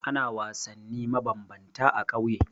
Ana wasanni mabambanta a ƙauye.